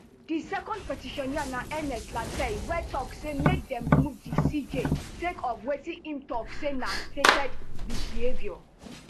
di second petitioner na ernest lartey wey tok say make dem remove di cj sake of wetin im tok say na stated misbehaviour